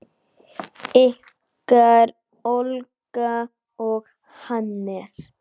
Ykkar Olga og Hannes.